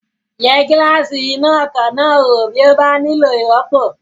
Yẹ gíláàsì iná ọkọ̀ náà wò bí ó bá nílò ìrọ́pò